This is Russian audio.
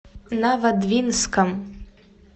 новодвинском